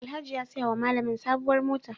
Alhaji ya saya wa malamin sabuwar mota.